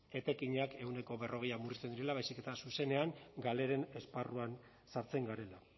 etekinak ehuneko berrogeian murrizten direla baizik eta zuzenean galeren esparruan sartzen garela